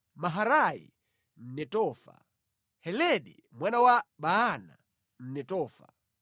Maharai Mnetofa, Heledi mwana wa Baana Mnetofa,